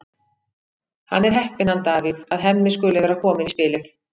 Hann er heppinn, hann Davíð, að Hemmi skuli vera kominn í spilið.